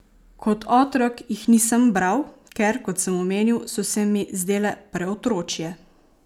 Kot otrok jih nisem bral, ker, kot sem omenil, so se mi zdele preotročje.